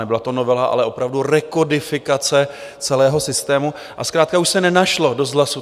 Nebyla to novela, ale opravdu rekodifikace celého systému, a zkrátka už se nenašlo dost hlasů.